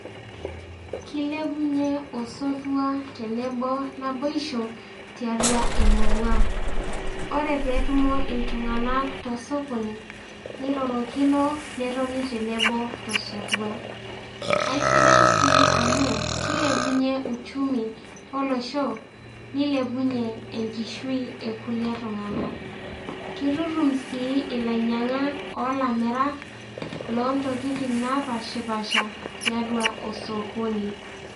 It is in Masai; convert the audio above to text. Kilepunye osotua tenebo naboisho tiatua emurua. Ore pee etumo itung'anak tosokoni, neirorokino netoni tenebo tosotua. Aisidai sii amuu kilepunye uchumi olosho, neilepunye enkishui ekulie tung'anak. Keitutum sii ilainyang'ak o lamirak loontokitin naapaashipaasha tiatua osokoni.